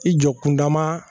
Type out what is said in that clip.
I jɔ kunda ma